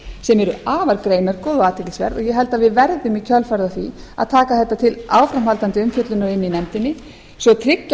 sem eru afar greinargóð og athyglisverð og ég held að við verðum í kjölfarið á því að taka þetta til áframhaldandi umfjöllunar í nefndinni svo tryggja